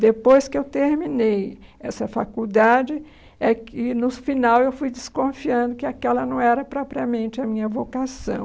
Depois que eu terminei essa faculdade, é que no final eu fui desconfiando que aquela não era propriamente a minha vocação.